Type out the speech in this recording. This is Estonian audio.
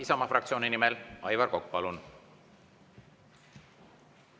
Isamaa fraktsiooni nimel Aivar Kokk, palun!